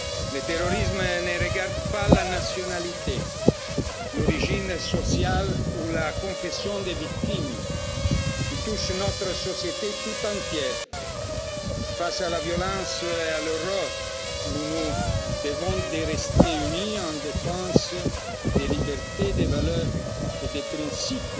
Le terrorisme ne regarde pas la nationalité, l'origine sociale ou la confession des victimes, il touche notre société toute entière. Face à la violence et à l'horreur, nous nous devons de rester unis en défenseurs des libertés, des valeurs et des principes